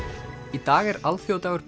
í dag er alþjóðadagur